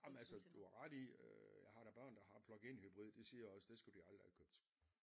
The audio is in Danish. Ah men altså du har ret i øh jeg har da børn der har plug in hybrid de siger også det skulle de aldrig have købt